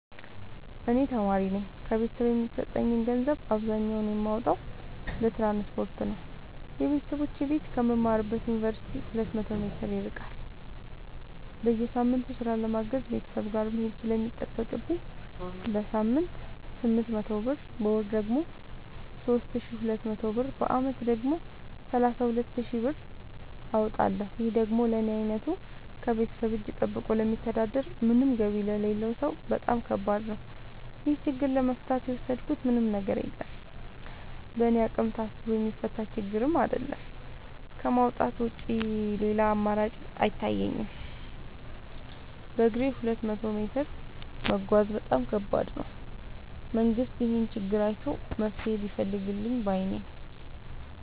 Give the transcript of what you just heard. እኔ ተማሪነኝ ከቤተሰብ የሚሰጠኝን ገንዘብ አብዛኛውን የማወጣው ለትራንስፖርት ነው የበተሰቦቼ ቤት ከምማርበት ዮንቨርሲቲ ሁለት መቶ ሜትር ይርቃል። በየሳምቱ ስራ ለማገዝ ቤተሰብ ጋር መሄድ ስለሚጠቅብኝ በሳምንት ስምንት መቶ ብር በወር ደግሞ ሶስት ሺ ሁለት መቶ ብር በአመት ደግሞ ሰላሳ ሁለት ሺ ብር አወጣለሁ ይህ ደግሞ ለኔ አይነቱ ከቤተሰብ እጂ ጠብቆ ለሚተዳደር ምንም ገቢ ለሌለው ሰው በጣም ከባድ ነው። ይህን ችግር ለመፍታት የወሰድኩት ምንም ነገር የለም በእኔ አቅም ታስቦ የሚፈታ ችግርም አይደለም ከማውጣት ውጪ ሌላ አማራጭ አይታየኝም በግሬም ሁለት መቶ ሜትር መጓዝ በጣም ከባድ ነው። መንግስት ይህንን ችግር አይቶ መፍትሔ ቢፈልግልን ባይነኝ።